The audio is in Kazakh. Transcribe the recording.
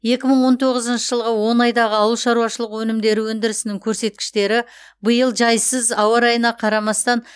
екі мың он тоғызыншы жылғы он айдағы ауыл шаруашылығы өнімдері өндірісінің көрсеткіштері биыл жайсыз ауа райына қарамастан